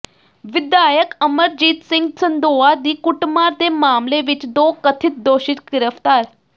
ਵਿਧਾਇਕ ਅਮਰਜੀਤ ਸਿੰਘ ਸੰਦੋਆ ਦੀ ਕੁੱਟਮਾਰ ਦੇ ਮਾਮਲੇ ਵਿੱਚ ਦੋ ਕਥਿਤ ਦੋਸ਼ੀ ਗ੍ਰਿਫ਼ਤਾਰ